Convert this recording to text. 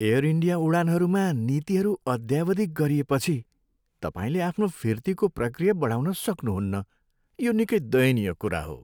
Air India उडानहरूमा नीतिहरू अद्यावधिक गरिएपछि, तपाईँले आफ्नो फिर्तीको प्रकिया बढाउन सक्नुहुन्न, यो निकै दयनीय कुरा हो।